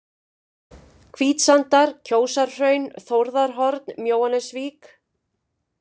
Hvítsandar, Kjósarhraun, Þórðarhorn, Mjóanesvík